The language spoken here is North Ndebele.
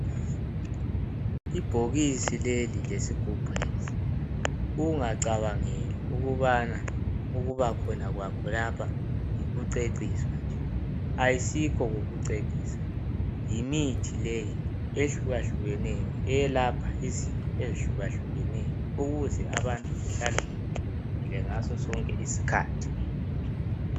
Ibhokisi leli lesigubhu lesi, ungacabangeli ukubana ukuba khona kwakho lapha yikucecisa, ayisikho kucecisa. Yimithi leyi ehlukahlukeneyo, eyelapha izifo ezihlukahlukeneyo ukuze abantu bahlale bevikelekile ngaso sonke isikhathi.